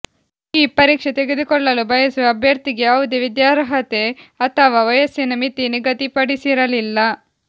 ಈ ಪರೀಕ್ಷೆ ತೆಗೆದುಕೊಳ್ಳಲು ಬಯಸುವ ಅಭ್ಯರ್ಥಿಗೆ ಯಾವುದೇ ವಿದ್ಯಾರ್ಹತೆ ಅಥವಾ ವಯಸ್ಸಿನ ಮಿತಿ ನಿಗದಿಪಡಿಸಿರಲಿಲ್ಲ